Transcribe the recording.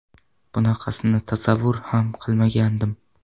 Bunaqasini tasavvur ham qilmagandim.